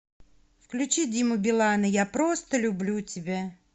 включи диму билана я просто люблю тебя